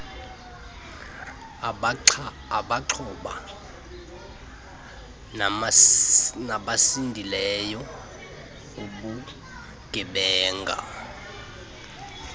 abaxhoba nabasindileyo kubugebenga